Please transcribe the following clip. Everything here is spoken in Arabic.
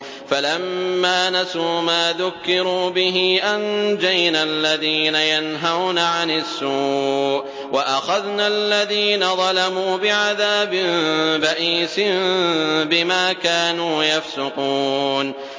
فَلَمَّا نَسُوا مَا ذُكِّرُوا بِهِ أَنجَيْنَا الَّذِينَ يَنْهَوْنَ عَنِ السُّوءِ وَأَخَذْنَا الَّذِينَ ظَلَمُوا بِعَذَابٍ بَئِيسٍ بِمَا كَانُوا يَفْسُقُونَ